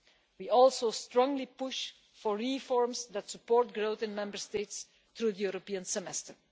We also strongly push for reforms that support growth in Member States through the European Semester.